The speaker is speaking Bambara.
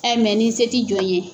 Ɛ ni se t'i jɔn ye.